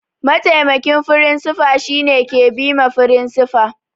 Mataimakin firinsifa shine ke bima firinsifa